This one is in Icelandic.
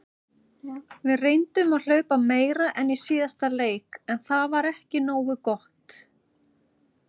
Við reyndum að hlaupa meira en í síðasta leik en það var ekki nógu gott.